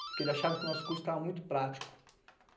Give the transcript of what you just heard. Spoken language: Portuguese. Porque ele achava que o nosso curso estava muito prático.